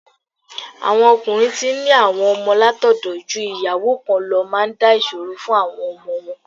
Àwọn ọkùnrin tí ń ní àwọn ọmọ látọ̀dọ̀ ju ìyàwó kan lọ máa ń dá ìṣòro fún àwọn ọmọ wọn.